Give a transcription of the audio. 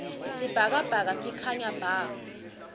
sibhakabhaka sikhanya bha